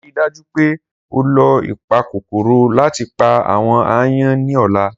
Rii daju pe o lo ipakokoro lati pa awọn aayan ni ọla!